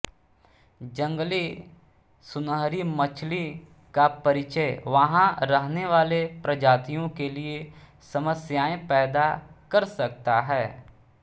जंगली सुनहरीमछली का परिचय वहां रहने वाले प्रजातियों के लिए समस्याएं पैदा कर सकता है